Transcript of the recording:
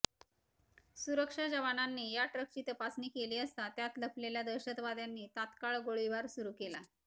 सुरक्षा जवानांनी या ट्रकची तपासणी केली असता त्यात लपलेल्या दहशतवाद्यांनी तात्काळ गोळीबार सुरू केला